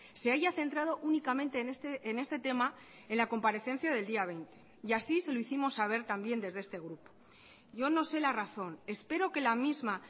se haya centrado únicamente en este tema en la comparecencia del día veinte y así se lo hicimos saber también desde este grupo yo no sé la razón espero que la misma